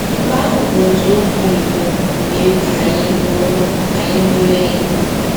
Nke ahụ bụ nzọụkwụ mbụ mere ka anyị bụrụ anyị bụrụ enyi.